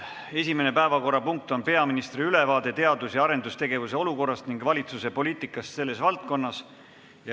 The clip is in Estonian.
Esimene päevakorrapunkt on peaministri ülevaade teadus- ja arendustegevuse olukorrast ning valitsuse poliitikast selles valdkonnas.